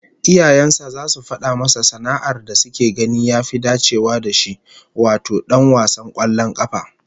Iyayen sa zasu fada masa sana'ar da suke ganin ya fi dacewa da shi, wato dan wasan kwallon kafa